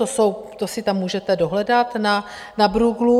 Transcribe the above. To si tam můžete dohledat na Bruegelu.